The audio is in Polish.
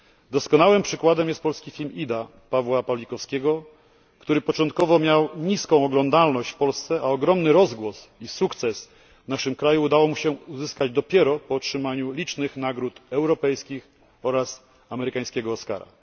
Doskonałym przykładem jest polski film Ida Pawła Pawlikowskiego, który początkowo miał niską oglądalność w Polsce, a ogromny rozgłos i sukces w naszym kraju udało mu się uzyskać dopiero po otrzymaniu licznych nagród europejskich oraz amerykańskiego Oscara.